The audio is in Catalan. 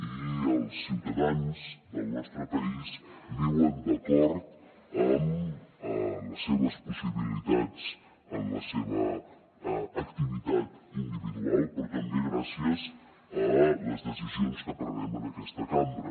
i els ciutadans del nostre país viuen d’acord amb les seves possibilitats en la seva activitat individual però també gràcies a les decisions que prenem en aquesta cambra